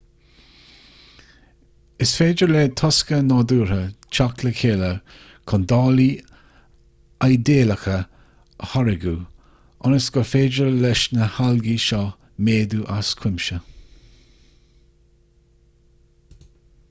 is féidir le tosca nádúrtha teacht le chéile chun dálaí idéalacha a tháirgeadh ionas gur féidir leis na halgaí seo méadú as cuimse